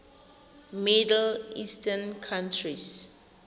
middle eastern countries